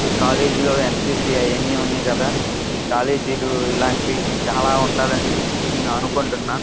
ఈ కాలేజీ లో ఎన్సిసి అవి అని ఉన్నాయి కదా ఈ కాలేజీ లు ఇలాంటివి చాలా ఉండాలని నేను అనుకుంటున్నా.